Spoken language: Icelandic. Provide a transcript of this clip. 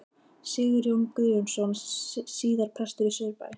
Sigurjón Guðjónsson, síðar prestur í Saurbæ.